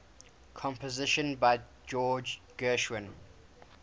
compositions by george gershwin